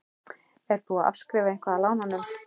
Er búið að afskrifa eitthvað af lánunum?